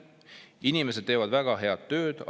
Inimesed teevad väga head tööd.